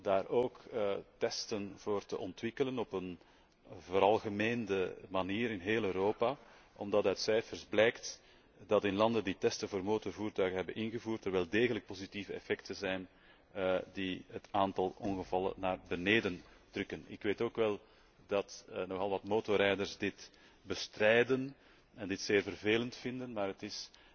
daar ook testen voor te ontwikkelen op een veralgemeende manier in heel Europa, omdat uit cijfers blijkt dat in landen die testen voor motorvoertuigen hebben ingevoerd, er wel degelijk positieve effecten zijn die het aantal ongevallen doen dalen. Ik weet ook wel dat nogal wat motorrijders dit bestrijden en dit zeer vervelend vinden, maar het